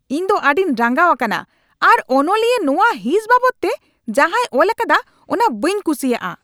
ᱤᱧ ᱫᱚ ᱟᱹᱰᱤᱧ ᱨᱟᱸᱜᱟᱣ ᱟᱠᱟᱱᱟ ᱟᱨ ᱚᱱᱚᱞᱤᱭᱟᱹ ᱱᱚᱣᱟ ᱦᱤᱸᱥ ᱵᱟᱵᱚᱫᱛᱮ ᱡᱟᱦᱟᱭ ᱚᱞᱟᱠᱟᱫᱟ ᱚᱱᱟ ᱵᱟᱹᱧ ᱠᱩᱥᱤᱭᱟᱜᱼᱟ ᱾